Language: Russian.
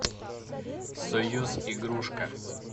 союз игрушка